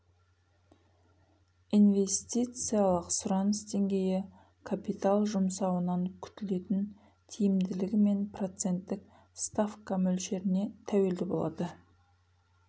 инвестициялық сұраныс деңгейі капитал жұмсауынан күтілетін тиімділігі мен проценттік ставка мөлшеріне тәуелді болады